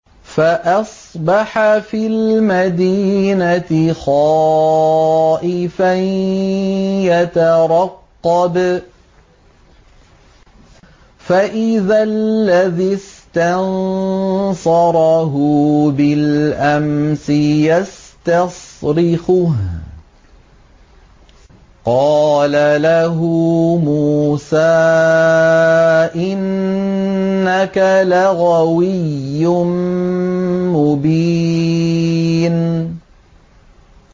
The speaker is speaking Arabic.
فَأَصْبَحَ فِي الْمَدِينَةِ خَائِفًا يَتَرَقَّبُ فَإِذَا الَّذِي اسْتَنصَرَهُ بِالْأَمْسِ يَسْتَصْرِخُهُ ۚ قَالَ لَهُ مُوسَىٰ إِنَّكَ لَغَوِيٌّ مُّبِينٌ